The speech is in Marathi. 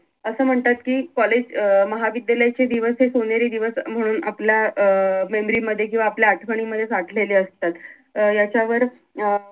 असं म्हणतात कि कॉलेज अं महाविद्यालययाचे दिवस हे सोनेरी दिवस म्हणून आपल्या अं memory मध्ये किंवा आपल्या आठवणींमध्ये साठलेले असतात अं याच्यावर